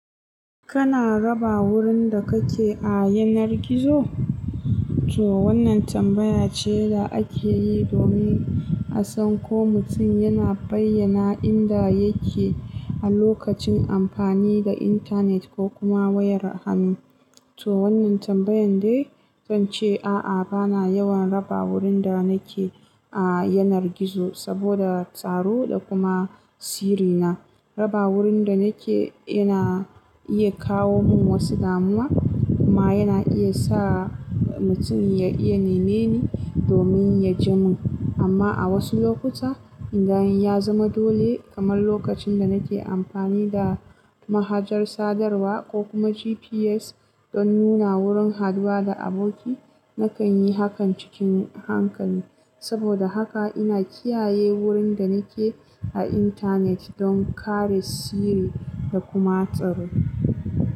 Kana raba wurin da kake a yanar gizo? To wannan tambaya ce da ake yi domin a san ko mutum yana bayyana inda yake a lokacin amfani da intanet ko kuma wayar hannu. To wannan tambayan dai, zan ce a'a, bana yawan raba wurin da nake a yanar gizo saboda tsaro da kuma sirri na. Raba wurin da nake yana iya kawo min wasu damuwa kuma yana iya sa mutum ya iya neme ni domin ya ji mun. Amma a wasu lokuta, inda ya zama dole, kamar lokacin da nake amfani da mahajar sadarwa ko kuma GPS don nuna wurin haɗuwa da aboki, na kan yi hakan cikin hankali. Saboda haka ina kiyaye wurin da nake a intanet don kare sirri da kuma tsaro.